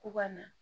K'u ka na